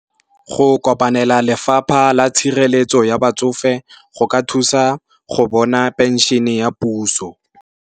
Go kopanela lefapha la tshireletso ya batsofe go ka thusa go bona penšhene ya puso.